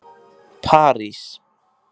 París